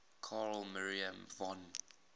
carl maria von